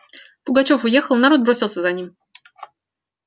пугачёв уехал народ бросился за ним